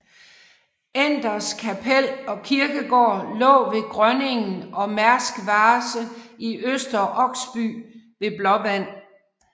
Enders Kapel og kirkegård lå ved Grønningen og Mærsk Vase i Øster Oksby ved Blåvand